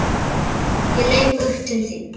Ég leit upp til þín.